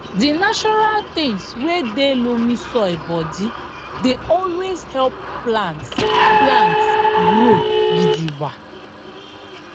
di natural tins wey dey loamy soil bodi dey always help plants plants grow gidigba